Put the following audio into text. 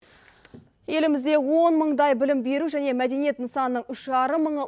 елімізде он мындай білім беру және мәдениет нысанның үш жарым мыңы